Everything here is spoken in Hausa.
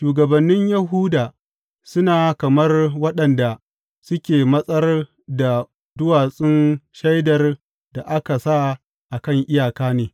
Shugabannin Yahuda suna kamar waɗanda suke matsar da duwatsun shaidar da aka sa a kan iyaka ne.